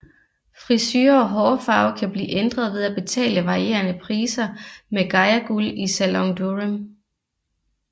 Frisure og hårfarve kan blive ændret ved at betale varierende priser med Gaia Guld i Salon Durem